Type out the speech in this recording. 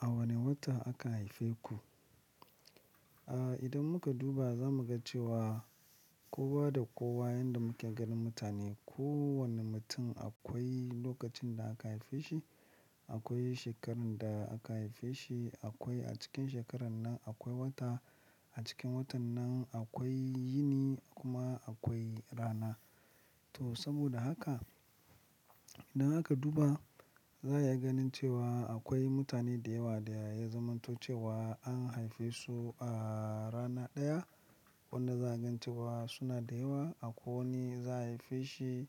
A wane wata aka haife ku? A idan muka duba za mu ga cewa kowa da kowa yanda muke ganin mutane, kowanne mutum akwai lokacin da aka haife shi, akwai shekarun da aka haife shi, akwai a cikin shekarar nan akwai wata, a cikin watan nan akwai yini kuma akwai rana. To saboda haka idan aka duba za a iya ganin cewa akwai mutane da yawa da ya zamanto cewa an haife su a rana ɗaya wanda za a gani cewa suna da yawa. Akwai wani za a haife shi